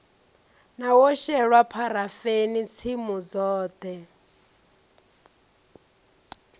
wo shelwa pharafeni tsimu dzoṱhe